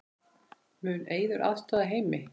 Mun Eiður aðstoða Heimi?